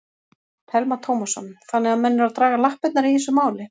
Telma Tómasson: Þannig að menn eru að draga lappirnar í þessu máli?